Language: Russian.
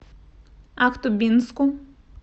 ахтубинску